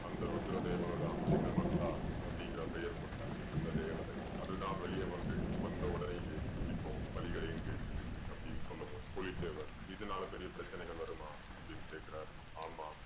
அந்த ருத்ர தேவதை தான் சின்னமஸ்கா அப்படீங்கற பெயர் கொண்ட அந்த தேவதை. அது தான் வெளியே வந்து வந்த உடனேயே இப்போ பலிகளையும் கேக்குது அப்படீன்னு சொன்னதும் புலித்தேவர் இதனால பெரிய பிரச்சனைகள் வருமா அப்படீன்னு கேக்குறாரு. ஆமாம்